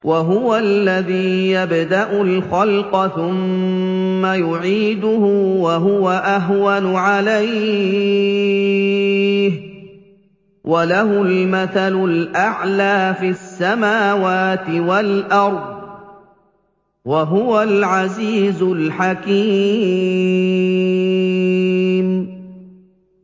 وَهُوَ الَّذِي يَبْدَأُ الْخَلْقَ ثُمَّ يُعِيدُهُ وَهُوَ أَهْوَنُ عَلَيْهِ ۚ وَلَهُ الْمَثَلُ الْأَعْلَىٰ فِي السَّمَاوَاتِ وَالْأَرْضِ ۚ وَهُوَ الْعَزِيزُ الْحَكِيمُ